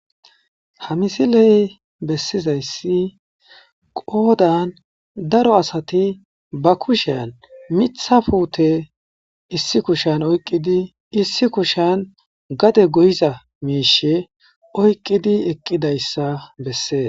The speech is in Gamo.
ha misiley bessizayssi qoodan daro asati ba kushean mitha puute issi kushan oyqqidi issi kushan gade goyiza miishe oyqqidi eqqidayssa bessees